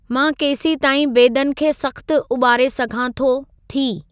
मां केसीं ताईं बेदनि खे सख़्तु उॿारे सघां थो/थी